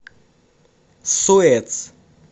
суэц